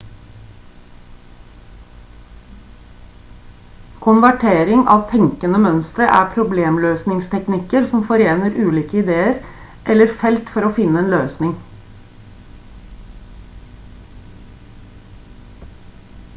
konvertering av tenkende mønstre er problemløsningsteknikker som forener ulike ideer eller felt for å finne en løsning